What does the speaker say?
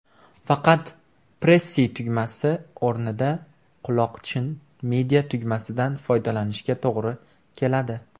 Faqat, Pressy tugmasi o‘rnida quloqchin media–tugmasidan foydalanishga to‘g‘ri keladi.